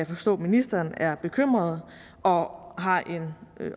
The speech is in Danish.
forstå ministeren er bekymrede og har en